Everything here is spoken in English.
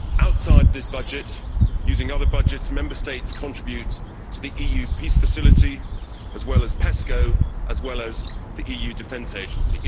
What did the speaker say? Outside this budget, using other budgets, Member States contribute to the EU Peace Facility and PESCO, as well as the EU Defence Agency.